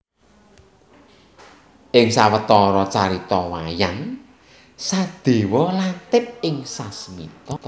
Ing sawetara carita wayang Sadéwa lantip ing sasmita